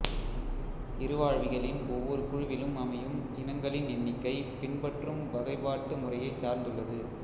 இருவாழ்விகளின் ஒவ்வொரு குழுவிலும் அமையும் இனங்களின் எண்ணிக்கை பின்பற்றும் வகைபாட்டுமுறையைச் சார்ந்துள்ளது